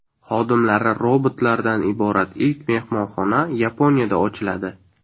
Xodimlari robotlardan iborat ilk mehmonxona Yaponiyada ochiladi.